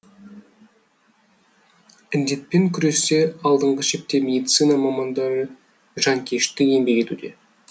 індетпен күресте алдыңғы шепте медицина мамандары жанкешті еңбек етуде